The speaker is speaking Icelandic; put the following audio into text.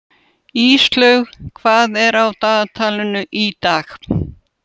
Íslaug, hvað er á dagatalinu í dag?